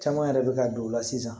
Caman yɛrɛ bɛ ka don o la sisan